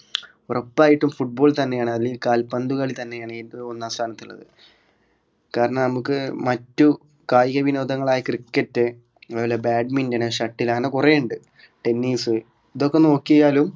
ഉറപ്പായിട്ടും football തന്നെയാണ് അല്ലെങ്കിൽ കാൽപന്തുകളി തന്നെയാണ് ഏറ്റവും ഒന്നാം സ്ഥാനത്തുള്ളത് കാരണം നമുക്ക് മറ്റു കായികവിനോദങ്ങളായ cricket എന്നുപോലെ badmintonshuttle അങ്ങനെ കൊറെയിണ്ട് tennis ഇതൊക്കെ നോക്കിയാലും